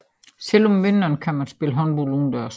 Selv om vinteren kan man spille håndbold udendørs